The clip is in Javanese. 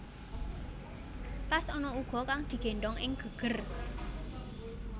Tas ana uga kang digéndhong ing geger